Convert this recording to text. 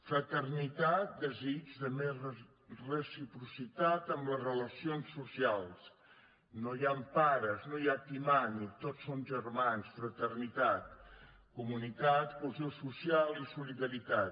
fraternitat desig de més reciprocitat en les relacions socials no hi han pares no hi ha qui mani tots som germans fraternitat comunitat cohesió social i solidaritat